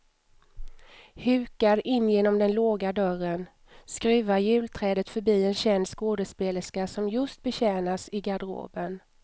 Hukar in genom den låga dörren, skruvar julträdet förbi en känd skådespelerska som just betjänas i garderoben.